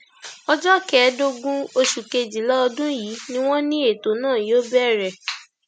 ọjọ kẹẹẹdógún oṣù kejìlá ọdún yìí ni wọn ní ètò náà yóò bẹrẹ